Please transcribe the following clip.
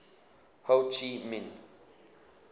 ho chi minh